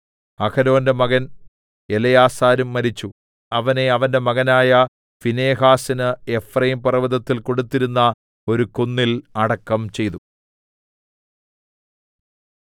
അഹരോന്റെ മകൻ എലെയാസാരും മരിച്ചു അവനെ അവന്റെ മകനായ ഫീനെഹാസിന് എഫ്രയീംപർവ്വതത്തിൽ കൊടുത്തിരുന്ന ഒരു കുന്നിൽ അടക്കം ചെയ്തു